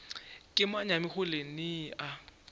ke manyami go le nea